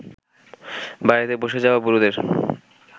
বাড়িতে বসে যাওয়া বুড়োদের